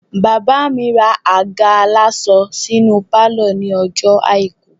Bàbá mi ra àga aláṣọ sínú pálọ̀ ní ọjọ́ àìkú